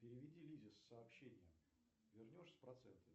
переведи лизе сообщение вернешь с процентами